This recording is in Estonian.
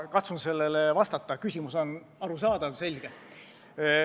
Ma katsun sellele vastata, küsimus on arusaadav ja selge.